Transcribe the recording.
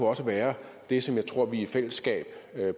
også være det som jeg tror vi i fællesskab